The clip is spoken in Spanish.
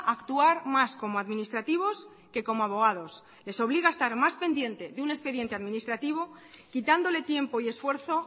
a actuar más como administrativos que como abogados les obliga a estar más pendiente de un expediente administrativo quitándole tiempo y esfuerzo